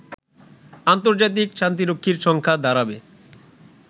আন্তর্জাতিক শান্তিরক্ষীর সংখ্যা দাঁড়াবে